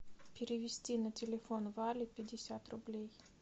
перевести на телефон вале пятьдесят рублей